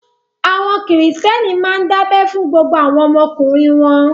Àwọn Kìrìtẹ́ẹ́nì máa ń dábẹ fún gbogbo àwọn ọmọkùnrin wọn.